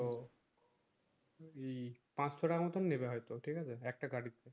তো ইি পাচশো টাকার মত নিবে হয় তো ঠিক আছে একটা গাড়িতে